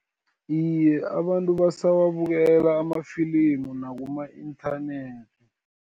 Iye, abantu basawabukela amafilimu nakuma-inthanethi.